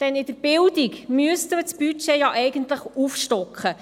Denn in der Bildung müsste man das Budget ja eigentlich aufstocken.